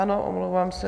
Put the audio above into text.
Ano, omlouvám se.